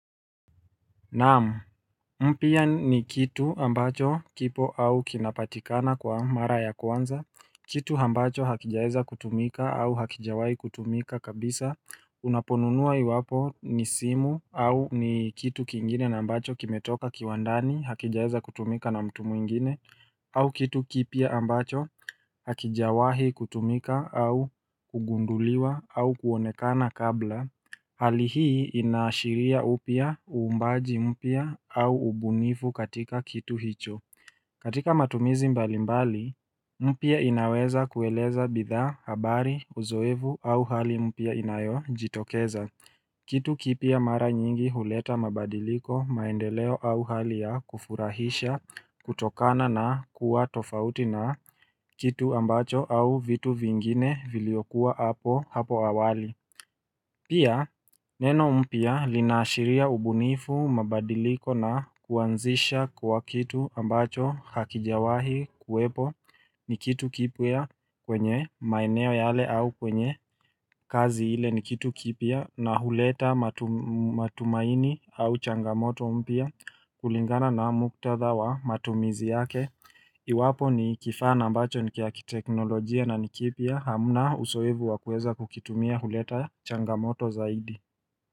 Naam, mpa ni kitu ambacho kipo au kinapatikana kwa mara ya kwanza, kitu ambacho hakijaeza kutumika au hakijawahi kutumika kabisa Unaponunua iwapo ni simu au ni kitu kingine na ambacho kimetoka kiwandani hakijaeza kutumika na mtu mwingine au kitu kipya ambacho hakijawahi kutumika au kugunduliwa au kuonekana kabla Hali hii inaashiria upya, uumbaji mpya au ubunivu katika kitu hicho. Katika matumizi mbalimbali, mpya inaweza kueleza bidhaa, habari, uzoevu au hali mpya inayojitokeza. Kitu kipya mara nyingi huleta mabadiliko maendeleo au hali ya kufurahisha kutokana na kuwa tofauti na kitu ambacho au vitu vingine vilio kuwa hapo hapo awali. Pia neno mpya linaashiria ubunifu mabadiliko na kuanzisha kwa kitu ambacho hakijawahi kuwepo ni kitu kipya kwenye maeneo yale au kwenye kazi ile ni kitu kipya na huleta matumaini au changamoto mpya kulingana na muktadha wa matumizi yake. Iwapo ni kifaa na ambacho nikiakiteknolojia na ni kipya hamuna uzoevu wa kuweza kukitumia huleta changamoto zaidi.